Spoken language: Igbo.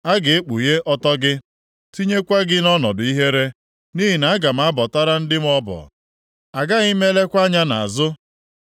A ga-ekpughe ọtọ gị, tinyekwa gị nʼọnọdụ ihere. Nʼihi na aga m abọtara ndị m ọbọ, agaghị m elekwa anya nʼazụ.”